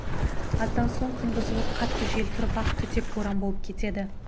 аздан соң күн бұзылып қатты жел тұрып ақ түтек боран болып кетеді